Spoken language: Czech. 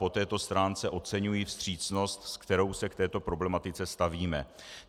Po této stránce oceňuji vstřícnost, se kterou se k této problematice stavíme.